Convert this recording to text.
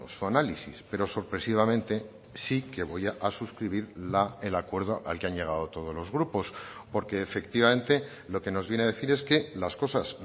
su análisis pero sorpresivamente sí que voy a suscribir el acuerdo al que han llegado todos los grupos porque efectivamente lo que nos viene a decir es que las cosas